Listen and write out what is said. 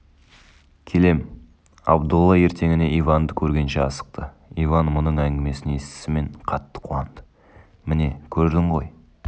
келем абдолла ертеңіне иванды көргенше асықты иван мұның әңгімесін естісімен қатты қуанды міне көрдің ғой